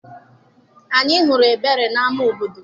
Anyị hụrụ Ebere na-ama obodo.